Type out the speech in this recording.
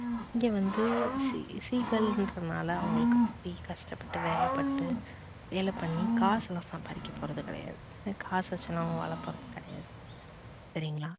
இங்க வந்து seegal னுறதுனால அவங்களுக்கு கஷ்டப்பட்டு வேலை பட்டு வேலை பண்ணி காசுலாம் சம்பாரிக்க போறது கிடையாது. என்னா காசு வச்சிலாம் அவங்க வாழ போறது கிடையாது சரிங்களா